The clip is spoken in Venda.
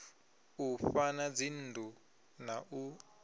u fhaḓa dzinnḓu na u